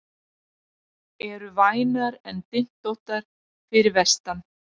Eru vænar en dyntóttar fyrir vestan